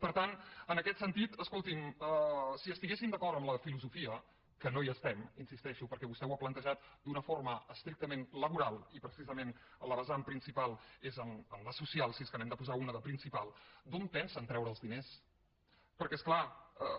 per tant en aquest sentit escolti’m si estiguéssim d’acord en la filosofia que no hi estem hi insisteixo perquè vostè ho ha plantejat d’una forma estrictament laboral i precisament la vessant principal és en la social si és que n’hem de posar una de principal d’on pensen treure els diners perquè és clar